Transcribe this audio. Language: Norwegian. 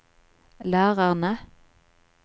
lærerne